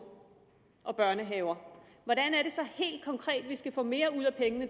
og børnehaver hvordan er det så helt konkret at vi skal få mere ud af pengene